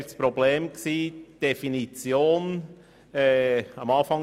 Das Problem bestand in der Definition, worum es geht.